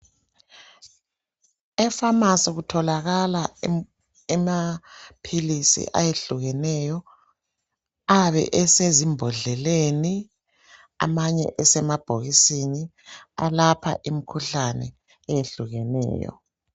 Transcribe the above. Efamasi kutholakala amaphilisi ayehlukeneyo ayabe esezimbodleleni amanye esemabhokisini alapha imkhuhlane eyehlukeneyo.